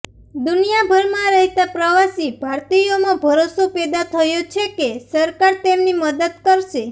દુનિયાભરમાં રહેતા પ્રવાસી ભારતીયોમાં ભરોસો પેદા થયો છે કે સરકાર તેમની મદદ કરશે